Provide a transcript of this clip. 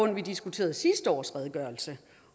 da vi diskuterede sidste års redegørelse